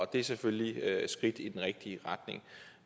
det er selvfølgelig et skridt i den rigtige retning